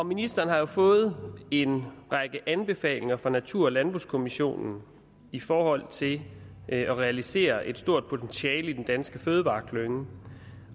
ministeren har jo fået en række anbefalinger fra natur og landbrugskommissionen i forhold til at realisere et stort potentiale i den danske fødevareklynge